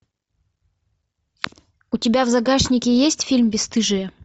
у тебя в загашнике есть фильм бесстыжие